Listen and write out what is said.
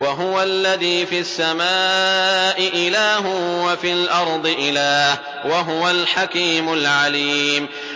وَهُوَ الَّذِي فِي السَّمَاءِ إِلَٰهٌ وَفِي الْأَرْضِ إِلَٰهٌ ۚ وَهُوَ الْحَكِيمُ الْعَلِيمُ